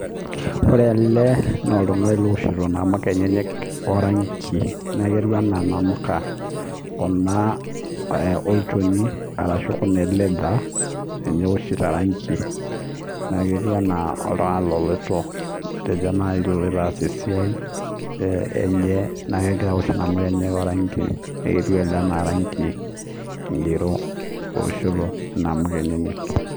Ore ele naa oltung'ani looshito inamuka enyenyek oranki naa ketiu naa inamuka kuna olchoni ashu ee leather teneoshi oranki naa ketiu enaa oltung'ani oloito naji loloito aas esiai enye naa kegira aosh inamuka enyenak oranki etiu ele anaa oranki ng'iro oshita inamuka enyenyek.